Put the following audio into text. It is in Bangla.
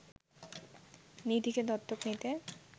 নিধিকে দত্তক নিতে